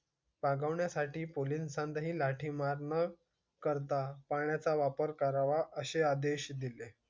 पांगवण्यासाठी पोलिसांनी लाठीमार न करता पाण्याचा वापर करावा, असे आदेश दिले.